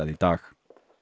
í dag